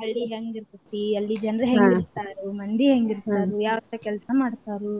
ಹಳ್ಳಿ ಹೆಂಗ ಇರತೈತಿ ಹಳ್ಳಿ ಜನರ ಹೆಂಗ ಇರ್ತಾರು ಮಂದಿ ಹೆಂಗ ಇರ್ತಾರು ಯಾವ ತರಾ ಕೆಲ್ಸಾ ಮಾಡ್ತಾರು